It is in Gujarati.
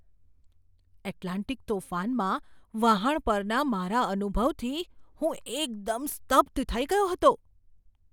એટલાન્ટિક તોફાનમાં વહાણ પરના મારા અનુભવથી હું એકદમ સ્તબ્ધ થઈ ગયો હતો!